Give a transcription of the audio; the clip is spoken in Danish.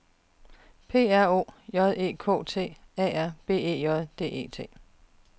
P R O J E K T A R B E J D E T